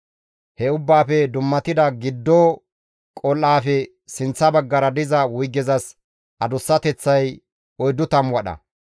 He Ubbaafe dummatida giddo qol7aafe sinththa baggara diza wuygezas adussateththay 40 wadha.